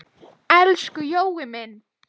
Elsku Jói minn.